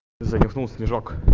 занюхнул снежок